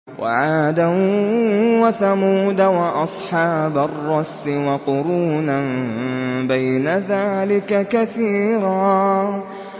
وَعَادًا وَثَمُودَ وَأَصْحَابَ الرَّسِّ وَقُرُونًا بَيْنَ ذَٰلِكَ كَثِيرًا